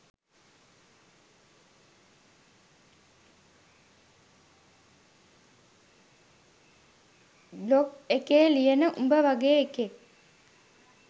blog එකේ ලියන උඹ වගේ එකෙක්